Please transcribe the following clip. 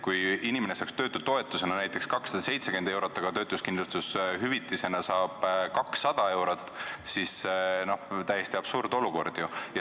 Kui inimene saaks töötutoetusena näiteks 270 eurot, aga töötuskindlustushüvitisena saab 200 eurot, siis on ju täiesti absurdne olukord.